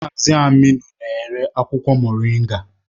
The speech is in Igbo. Mazị Aminu na-ere akwụkwọ Moringa